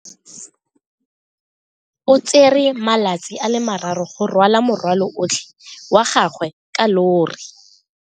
O tsere malatsi a le marraro go rwala morwalo otlhe wa gagwe ka llori.